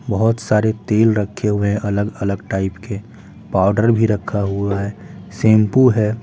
बहुत सारे तेल रखे हुए हैंअलग-अलग टाइप के पाउडर भी रखा हुआ हैशैंपू है।